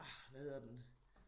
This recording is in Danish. Ah hvad hedder den